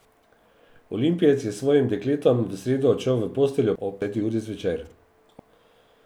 Olimpijec je s svojim dekletom v sredo odšel v posteljo ob deseti uri zvečer.